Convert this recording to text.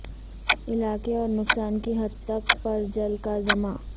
علاقے اور نقصان کی حد تک پر جل کا زمرہ